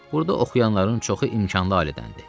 Burda oxuyanların çoxu imkanlı alədəndir.